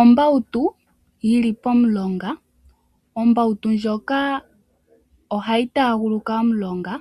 Ombawutu yili pomulonga. Ombautu ndjoka ohayi taaguluka omulonga